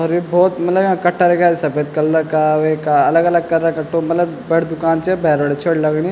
अर ये भोत मलब याँ कट्टा रख्याँ सपेद कलर का वेका अलग-अलग कलर रा कट्टों मलब बड़ी दुकान च या भैर बटे छोटी लगणी --